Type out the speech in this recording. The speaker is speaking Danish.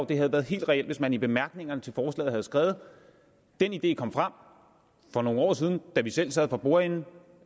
det havde været helt reelt hvis man i bemærkningerne til forslaget havde skrevet den idé kom frem for nogle år siden da vi selv sad for bordenden og